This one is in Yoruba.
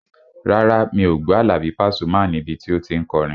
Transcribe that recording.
Rárá, mi ò gbọ́ Àlàbí Pasuma níbi tí o tí n kọrin